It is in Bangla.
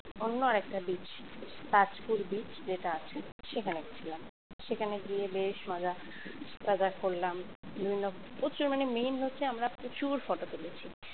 অন্য আরেকটা beach তাজপুর beach যেটা আছে সেখানে গিয়েছিলাম সেখানে গিয়ে বেশ মজা টজা করলাম বিভিন্ন প্রচুর মানে main হচ্ছে আমরা প্রচুর photo তুলেছি